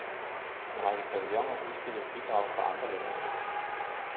En række pavillioner udstillede bidrag fra andre lande.